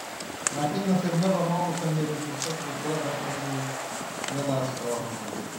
Laakiin nasiib darro, ma uusan helin fursad uu ku arko riyadaas oo rumowday.